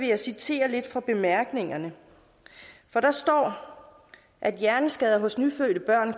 jeg citere lidt fra bemærkningerne for der står at hjerneskader hos nyfødte børn